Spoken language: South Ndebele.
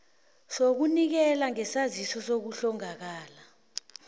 sokunikela ngesaziso sokuhlongakala